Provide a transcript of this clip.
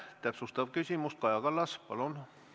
Täpsustav küsimus, Kaja Kallas, palun!